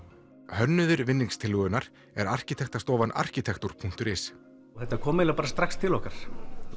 hönnuðir er arkitektarstofan Arkitektur punktur is þetta kom eiginlega strax til okkar